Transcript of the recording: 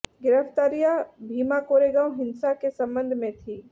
गिरफ़्तारियाँ भीमा कोरेगाँव हिंसा के संबंध में थीं